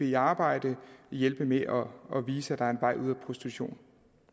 i arbejde hjælpe med at vise at der er en vej ud af prostitution